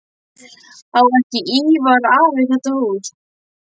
Á ekki Ívar afi þetta hús?